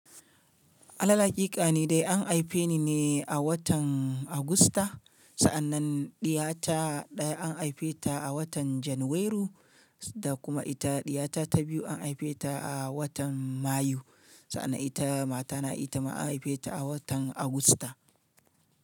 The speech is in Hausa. Alal aƙika ne dai an aife ni ne a watan Agusta. Sa'annan ɗiya ta ɗaya an aife ta a watan Janairu, da kuma ita ɗiya ta biyu an haife ta a watan Mayu. Sa'an nan ita matana ita ma an haife ta a watan Agusta.